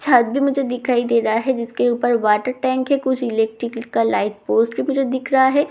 छत भी मुझे दिखाई दे रहा है जिसके ऊपर वॉटर टैंक है टैंक इलेक्ट्रिकल पोस्ट भी मुझे दिख रहा है ।